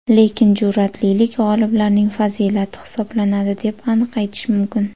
Lekin, jur’atlilik g‘oliblarning fazilati hisoblanadi deb aniq aytish mumkin.